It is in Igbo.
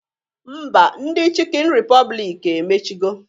Ḿbà, ndị Chịkịn Ripọblik emechigo.